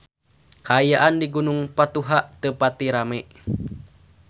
Kaayaan di Gunung Patuha teu pati rame